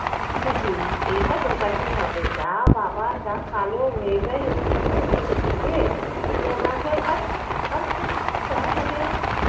টুপি এইটা ঢোকাতেই হবে। যা বাবা যা কালো হয়ে যায় ওইখানে ঘুরতে গিয়ে নোনা জল আরে কিছু আপনি দেখেছেন এটা মানে